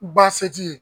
Baseji